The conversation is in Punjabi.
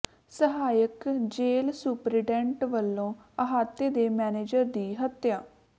ਸਹਾਇਕ ਜੇਲ੍ਹ ਸੁਪਰਡੈਂਟ ਵਲੋਂ ਅਹਾਤੇ ਦੇ ਮੈਨੇਜਰ ਦੀ ਹੱਤਿਆ